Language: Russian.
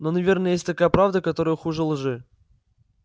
но наверное есть такая правда которая хуже лжи